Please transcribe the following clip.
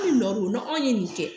Hali nɔ anw ye nin kɛ